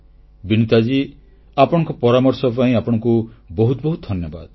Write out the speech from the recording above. ବିନୀତା ମହାଶୟା ଆପଣଙ୍କ ପରାମର୍ଶ ପାଇଁ ଆପଣଙ୍କୁ ବହୁତ ବହୁତ ଧନ୍ୟବାଦ